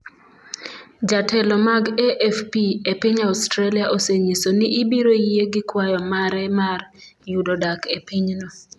Jotelo mag AFP e piny Australia osenyiso ni ibiro yie gi kwayo mare mar yudo dak e pinyno.